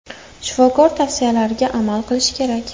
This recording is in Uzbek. Shifokor tavsiyalariga amal qilish kerak.